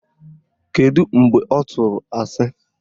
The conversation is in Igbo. Kedu mgbe ọ tụrụ asị?